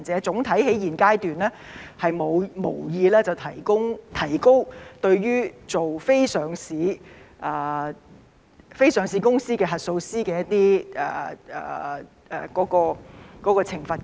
總體而言，在現階段，政府無意提高對於非上市公司核數師的罰款。